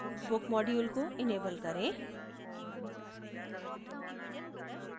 book module को enable करें